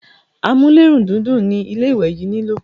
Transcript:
amúlérùndídùn ni ilé ìwẹ̀ yín nilò.